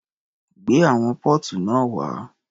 Gbé àwọn póòtù náà wá.